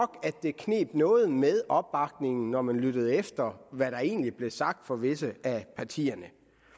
det kneb noget med opbakningen når man lyttede efter hvad der egentlig blev sagt fra visse af partiernes